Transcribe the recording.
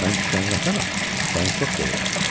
Mən küsənin atanam, səni çox sevirəm.